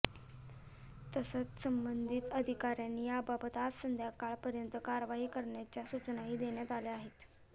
तसंच संबंधित अधिकाऱ्यांनी याबाबत आज संध्याकाळपर्यंत कार्यवाही करण्याच्या सूचनाही देण्यात आल्या आहेत